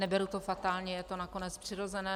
Neberu to fatálně, je to nakonec přirozené.